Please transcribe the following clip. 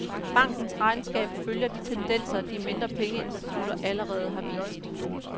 Bankens regnskab følger de tendenser, de mindre pengeinstitutter allerede har vist.